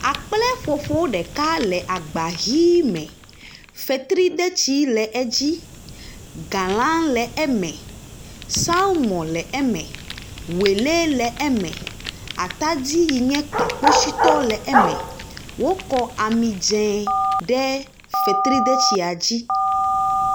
Akpleƒoƒo ɖeka le agba vii me, fetridetsi le edzi, gala le eme, salmɔ le eme, woele le eme, atadi yin ye kpakpotsitɔ le eme, wokɔ amidze ɖe fetridetsia dzi.